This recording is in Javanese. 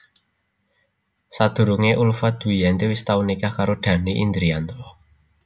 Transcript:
Sadurungé Ulfa Dwiyanti wis tau nikah karo Dhanny Indrianto